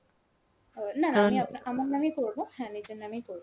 অ না না আমি আমা~ আমার নামেই করব, হ্যাঁ নিজের নামেই করব।